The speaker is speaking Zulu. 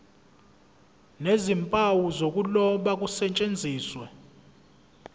nezimpawu zokuloba kusetshenziswe